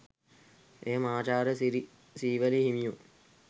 එය මහාචාර්ය සිරි සීවලී හිමියෝ